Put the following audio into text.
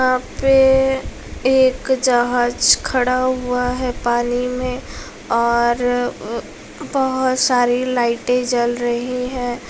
यहाँ पे एक जहाज खड़ा हुआ है पानी में और बहुत सारी लाइटें जल रही हैं।